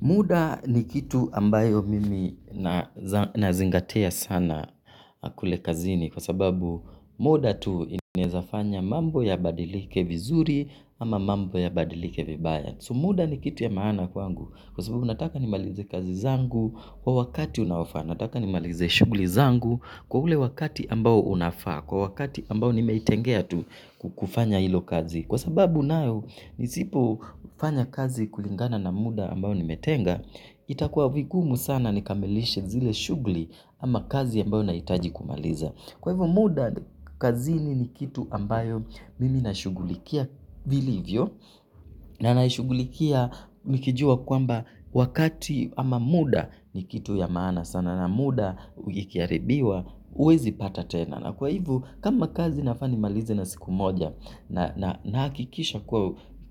Muda ni kitu ambayo mimi nazingatia sana kule kazini kwa sababu muda tu inawezafanya mambo yabadilike vizuri ama mambo ya badilike vibaya. So muda ni kitu ya maana kwangu kwa sababu nataka nimalize kazi zangu kwa wakati unaofaa. Nataka nimalize shughuli zangu kwa ule wakati ambao unafaa kwa wakati ambao nimetengea tu kufanya hiyo kazi. Kwa sababu nayo nisipo fanya kazi kulingana na muda ambayo nimetenga, itakuwa vigumu sana nikamilishe zile shughuli ama kazi ambayo nahitaji kumaliza. Kwa hivo muda kazini ni kitu ambayo mimi nashugulikia vilivyo na na shughulikia nikijua kwamba wakati ama muda ni kitu ya maana sana na muda ukiaribiwa uwezi pata tena. Na kwa hivo kama kazi nafaa nimalize na siku moja nahakikisha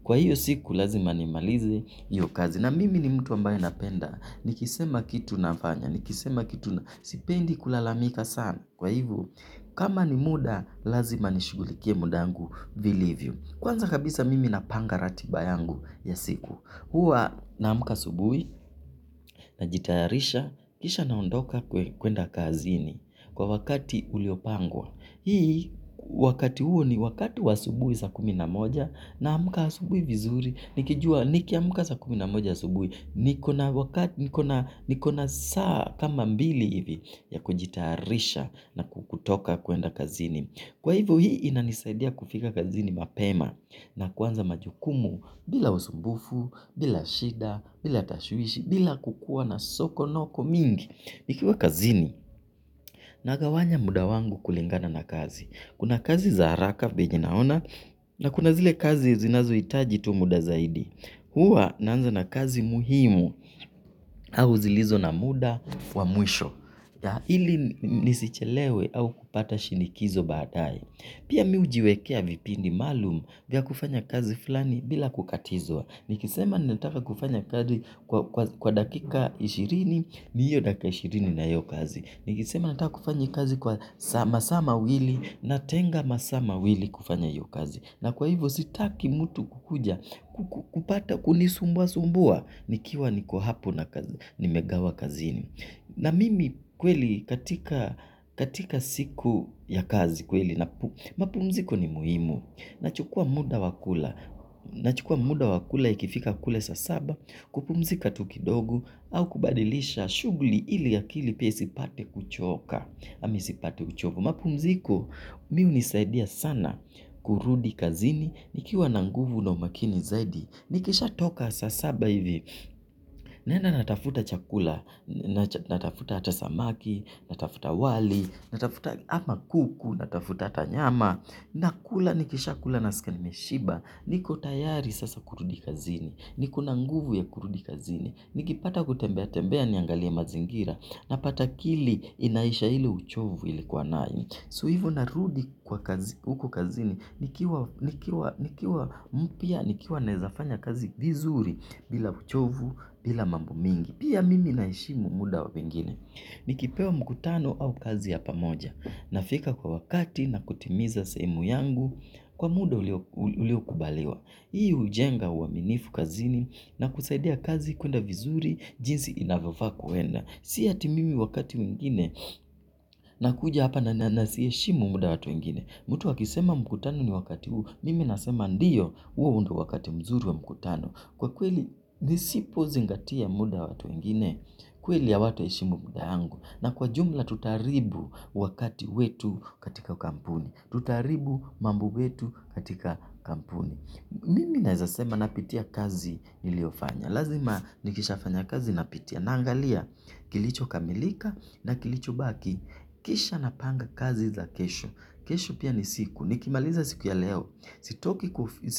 kwa hiyo siku lazima nimalize hiyo kazi na mimi ni mtu ambaye napenda nikisema kitu nafanya nikisema kitu sipendi kulalamika sana kwa hivo kama ni muda lazima nishugulikie muda wangu vilivyo vmkwanza kabisa mimi napanga ratiba yangu ya siku huwa naamka asubuhi najitayarisha kisha naondoka kwenda kazini kwa wakati uliopangwa. Hii wakati huo ni wakati wa asubuhi saa kumi na moja namka asubuhi vizuri. Nikijua nikiamuka saa kumi na moja asubuhi. Nikona wakati nikona saa kama mbili hivi ya kujitayarisha na kutoka kwenda kazini. Kwa hivo hii inanisaidia kufika kazini mapema na kuanza majukumu bila usumbufu, bila shida, bila tashwishi, bila kukuwa na sokonoko mingi. Ikiwa kazini, nagawanya muda wangu kulingana na kazi. Kuna kazi za haraka, venye naona, na kuna zile kazi zinazo hitaji tu muda zaidi. Huwa naanza na kazi muhimu au zilizo na muda wa mwisho. Ili nisichelewe au kupata shinikizo baadaye. Pia mimi hujiwekea vipindi maalumu vya kufanya kazi fulani bila kukatizwa. Nikisema nataka kufanya kazi kwa dakika ishirini ni hiyo dakika ishirini na hiyo kazi. Nikisema nataka kufanya kazi kwa masaa mawili natenga masaa mawili kufanya hiyo kazi. Na kwa hivo sitaki mtu kukuja kupata kunisumbua sumbua nikiwa niko hapo na kazi. Nimegawa kazini. Na mimi kweli katika siku ya kazi kweli. Mapumziko ni muhimu. Nachukuwa muda wakula. Nachukuwa muda wakula ikifika kule saa saba. Kupumzika tu kidogo. Au kubadilisha shughuli ili akili pia isipate kuchoka. Ama isipate uchovu. Mapumziko mimi hunisaidia sana. Kurudi kazini. Nikiwa na nguvu na umakini zaidi. Nikishatoka saa saba hivi. Naenda natafuta chakula, natafuta ata samaki, natafuta wali, natafuta ama kuku, natafuta ata nyama, nakula nikisha kula nasikia nimeshiba, niko tayari sasa kurudi kazini, nikona nguvu ya kurudi kazini, nikipata kutembea tembea niangalie mazingira, napata akili inaisha ile uchovu ilikuwa nami. So hivo narudi huku kazini, nikiwa mpya nikiwa nawezafanya kazi vizuri bila uchovu, bila mambo mingi. Pia mimi naheshimu muda wa wengine. Nikipewa mkutano au kazi ya pamoja. Nafika kwa wakati na kutimiza sehemu yangu, kwa muda ulio kubaliwa. Hii hujenga uaminifu kazini na kusaidia kazi kwenda vizuri, jinsi inavyofaa kwenda. Si ati mimi wakati mwengine nakuja hapa na nasiheshimu muda wa watu wengine. Mtu akisema mkutano ni wakati huu, mimi nasema ndiyo huo ndio wakati mzuri wa mkutano. Kwa kweli nisipozingatia muda wa watu wengine, kweli hawata heshimu muda wangu. Na kwa jumla tutaribu wakati wetu katika kampuni. Tutaribu mambu wetu katika kampuni. Mimi nawezasema napitia kazi niliyofanya. Lazima nikisha fanya kazi na pitia naangalia kilicho kamilika na kilicho baki kisha napanga kazi za kesho. Kesho pia ni siku nikimaliza siku ya leo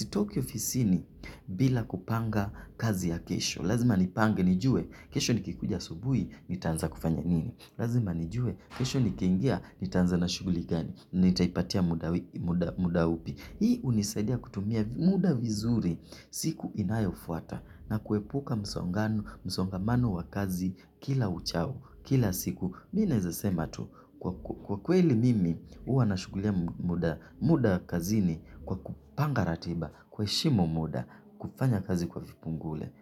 sitoki ofisini bila kupanga kazi ya kesho. Lazima nipange nijue kesho nikikuja asubuhi nitaanza kufanya nini. Lazima nijue kesho nikiingia nitaanza na shughuli gani nitaipatia muda upi. Hii hunisaidia kutumia muda vizuri siku inayofuata na kuepuka msongamano wa kazi kila uchao kila siku. Mimi nawezasema tu kwa kweli mimi huwa nashughulikia muda kazini kwa kupanga ratiba kuheshimu muda kufanya kazi kwa vipungule.